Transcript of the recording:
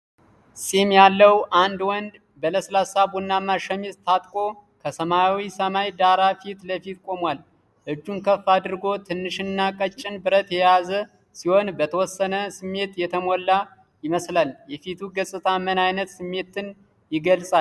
ፂም ያለው አንድ ወንድ በለስላሳ ቡናማ ሸሚዝ ታጥቆ ከሰማያዊ ሰማይ ዳራ ፊት ለፊት ቆሟል። እጁን ከፍ አድርጎ ትንሽና ቀጭን ብረት የያዘ ሲሆን፣ በተወሰነ ስሜት የተሞላ ይመስላል። የፊቱ ገጽታ ምን አይነት ስሜትን ይገልጻል?